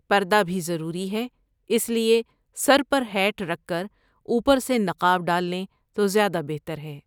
پردہ بھی ضروری ہے، اس لیے سر پر ہیٹ رکھ کر اوپر سے نقاب ڈال لیں تو زیادہ بہتر ہے ۔